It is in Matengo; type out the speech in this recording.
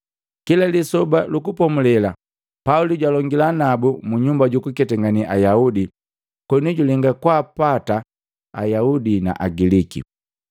Kila Lisoba lu Kupomulela Pauli jwalongila nabu munyumba jukuketangane Ayaudi koni julenga kwaapata Ayaudi na Agiliki.